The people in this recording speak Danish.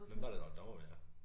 Hvem var det der var dommer ved jer?